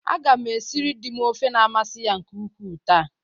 Aga m esiri dị m ofe na-amasị ya nke ukwu taa.